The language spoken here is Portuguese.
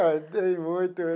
Ah, tem muito.